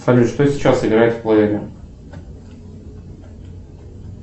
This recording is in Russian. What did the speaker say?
салют что сейчас играет в плеере